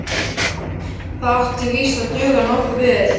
Það átti víst að duga nokkuð vel.